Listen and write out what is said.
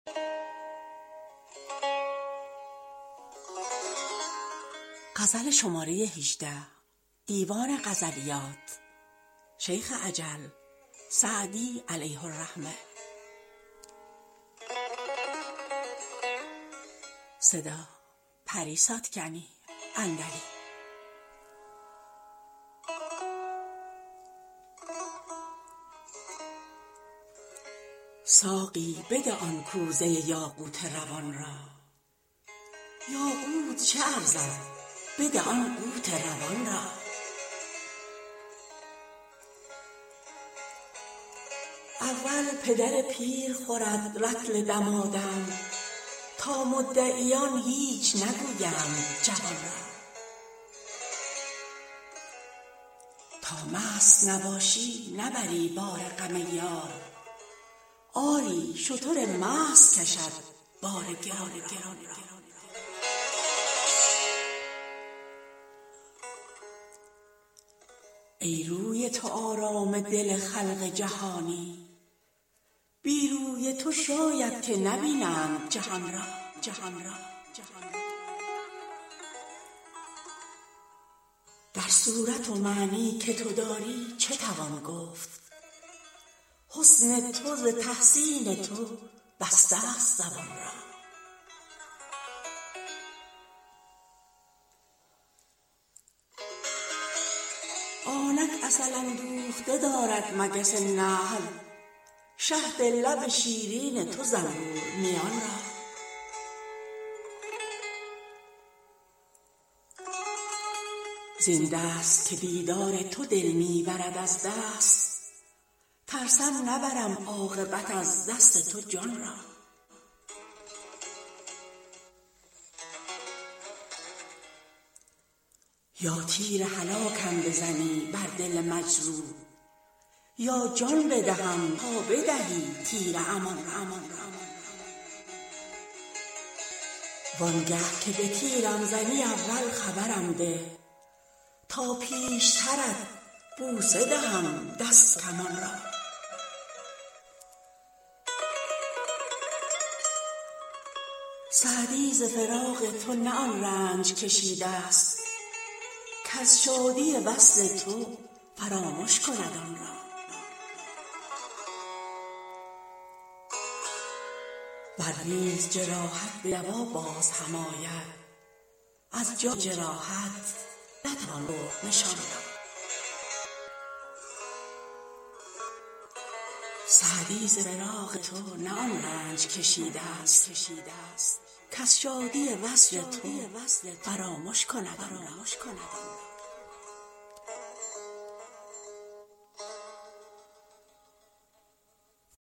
ساقی بده آن کوزه یاقوت روان را یاقوت چه ارزد بده آن قوت روان را اول پدر پیر خورد رطل دمادم تا مدعیان هیچ نگویند جوان را تا مست نباشی نبری بار غم یار آری شتر مست کشد بار گران را ای روی تو آرام دل خلق جهانی بی روی تو شاید که نبینند جهان را در صورت و معنی که تو داری چه توان گفت حسن تو ز تحسین تو بستست زبان را آنک عسل اندوخته دارد مگس نحل شهد لب شیرین تو زنبور میان را زین دست که دیدار تو دل می برد از دست ترسم نبرم عاقبت از دست تو جان را یا تیر هلاکم بزنی بر دل مجروح یا جان بدهم تا بدهی تیر امان را وان گه که به تیرم زنی اول خبرم ده تا پیشترت بوسه دهم دست و کمان را سعدی ز فراق تو نه آن رنج کشیدست کز شادی وصل تو فرامش کند آن را ور نیز جراحت به دوا باز هم آید از جای جراحت نتوان برد نشان را